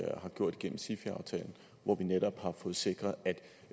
har gjort gennem sifi aftalen hvor vi netop har fået sikret